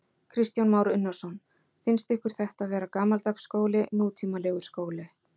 Kristján Már Unnarsson: Finnst ykkur þetta vera gamaldags skóli, nútímalegur skóli?